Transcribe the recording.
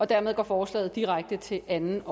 dermed går forslaget direkte til anden